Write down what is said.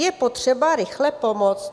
Je potřeba rychle pomoci.